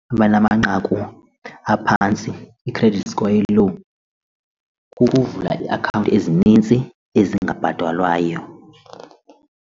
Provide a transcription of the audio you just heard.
Abanamanqaku aphantsi i-credit score e-low kukuvula ii-akhawunti ezinintsi ezingabhatalwayo.